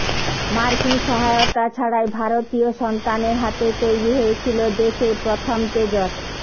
মার্কিন সহায়তা ছাড়াই ভারতীয় সন্তানের হাতে তৈরি হয়েছিল দেশের প্রথম তেজস